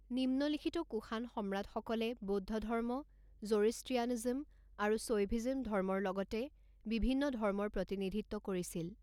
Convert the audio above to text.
নিম্নলিখিত কুষাণ সম্ৰাটসকলে বৌদ্ধ ধৰ্ম, জ'ৰ'ষ্ট্ৰীয়ানিজম আৰু শৈভিজম ধৰ্মৰ লগতে বিভিন্ন ধৰ্মৰ প্ৰতিনিধিত্ব কৰিছিল।